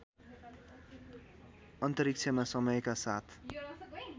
अन्तरिक्षमा समयका साथ